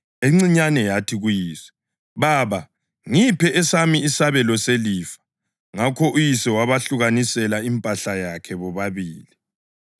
Encinyane yathi kuyise, ‘Baba, ngipha esami isabelo selifa.’ Ngakho uyise wabehlukanisela impahla yakhe bobabili.